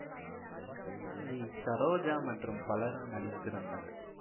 we Saroja மற்றும் பலரும் நடித்திருந்தனர்